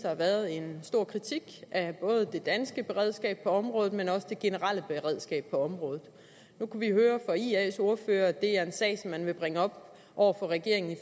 har været en stor kritik af både det danske beredskab på området men også det generelle beredskab på området nu kunne vi høre på ias ordfører at det er en sag som man vil bringe op over for regeringen i